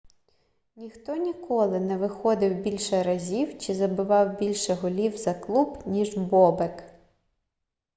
ніхто ніколи не виходив більше разів чи забивав більше голів за клуб ніж бобек